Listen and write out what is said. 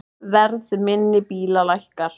Verð minni bíla lækkar